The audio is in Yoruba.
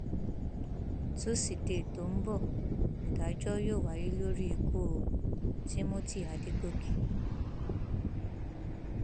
tusidee tó ń bọ nídájọ yóò wáyé lórí ku timothy adọgọkẹ